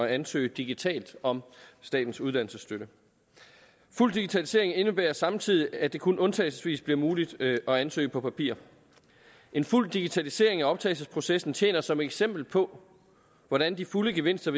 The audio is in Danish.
at ansøge digitalt om statens uddannelsesstøtte en fuld digitalisering indebærer samtidig at det kun undtagelsesvis bliver muligt at ansøge på papir en fuld digitalisering af optagelsesprocessen tjener som et eksempel på hvordan de fulde gevinster